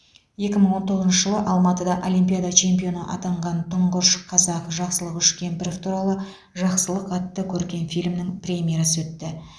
екі мың он тоғызыншы жылы алматыда олимпиада чемпионы атанған тұңғыш қазақ жақсылық үшкемпіров туралы жақсылық атты көркем фильмнің премьерасы өтті